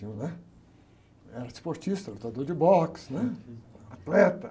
Eu, né? Era esportista, lutador de boxe, né? Atleta.